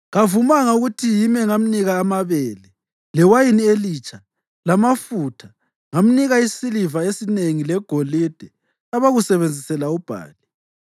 Kavumanga ukuthi yimi engamnika amabele, lewayini elitsha lamafutha ngamnika isiliva esinengi legolide abakusebenzisela uBhali.